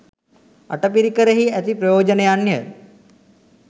අටපිරිකරෙහි ඇති ප්‍රයෝජනයන්ය.